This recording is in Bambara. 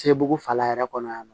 Sebugu fala yɛrɛ kɔnɔ yan nɔ